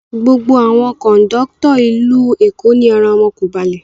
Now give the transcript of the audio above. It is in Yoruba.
Gbogbo àwọn kọ̀ńdọ́tọ́ ìlú Eko ni ara wọn kò balẹ̀.